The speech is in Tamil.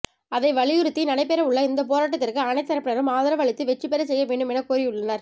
அதை வலியுறுத்தி நடைபெறவுள்ள இந்தப் போராட்டத்திற்கு அனைத்துத் தரப்பினரும் ஆதரவு அளித்து வெற்றி பெறச் செய்ய வேண்டும் என கோரியுள்ளனர்